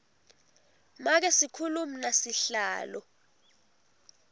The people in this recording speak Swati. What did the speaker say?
make sikhulumi nasihlalo